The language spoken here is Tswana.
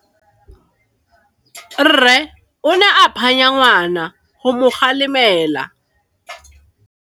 Rre o ne a phanya ngwana go mo galemela.